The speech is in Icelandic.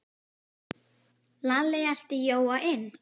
Lalli elti Jóa inn.